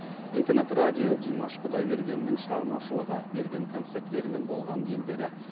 интернет радио димаш құдайбергеннің шығармашылығы берген концерттері мен болған елдері